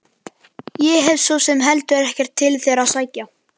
Ég hef svo sem heldur ekkert til þeirra að sækja.